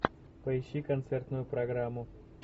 поищи концертную программу